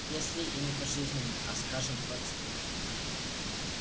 если и не пожизненное а скажем двадцать лет